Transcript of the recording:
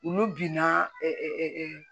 Olu binna